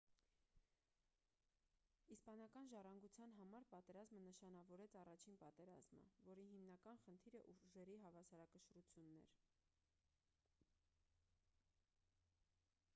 իսպանական ժառանգության համար պատերազմը նշանավորեց առաջին պատերազմը որի հիմնական խնդիրը ուժերի հավասարակշռությունն էր